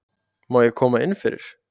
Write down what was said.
Má ég koma innfyrir?